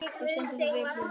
Þú stendur þig vel, Hilma!